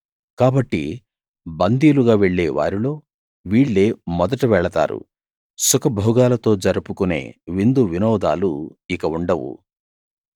కాబట్టి బందీలుగా వెళ్లే వారిలో వీళ్ళే మొదట వెళతారు సుఖభోగాలతో జరుపుకునే విందు వినోదాలు ఇక ఉండవు